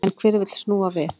En hver vill snúa við?